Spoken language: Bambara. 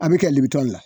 A bɛ kɛ liberi la